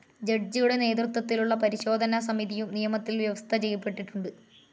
ജഡ്ജിയുടെ നേതൃത്വത്തിലുള്ള പരിശോധനാ സമിതിയും നിയമത്തിൽ വ്യവസ്ഥചെയ്യപ്പെട്ടിട്ടുണ്ട്.